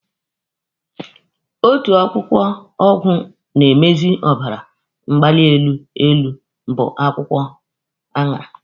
Otu akwụkwọ ọgwụ na-emezi ọbara mgbali elu bụ akwụkwọ aṅara.